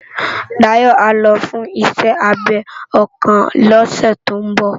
Dayo á lò fùn iṣè ábé òkán lòsè tó n bò